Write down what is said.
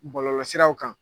Bɔlɔlɔsiraw kan.